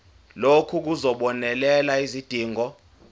lokhu kuzobonelela izidingo